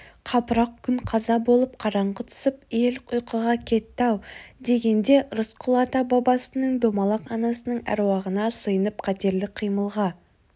қапырық күн қаза болып қараңғы түсіп ел ұйқыға кетті-ау дегенде рысқұл ата-бабасының домалақ анасының әруағына сыйынып қатерлі қимылға